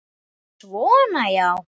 Svona, já.